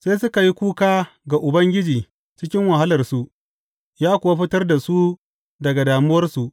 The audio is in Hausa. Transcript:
Sai suka yi kuka ga Ubangiji cikin wahalarsu, ya kuwa fitar da su daga damuwarsu.